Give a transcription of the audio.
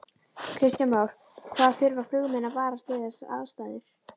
Kristján Már: Hvað þurfa flugmenn að varast við þessar aðstæður?